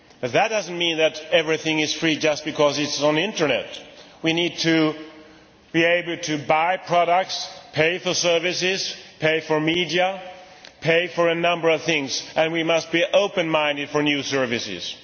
That does not mean that everything is free just because it is on the Internet. We need to be able to buy products, pay for services, pay for media, pay for a number of things, and we must be open minded about new services.